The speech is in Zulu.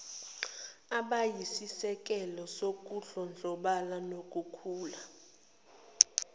abayisisekelo sokudlondlobala nokukhula